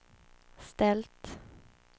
ställt